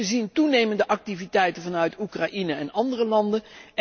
Wij zien toenemende activiteiten vanuit Oekraïne en andere landen.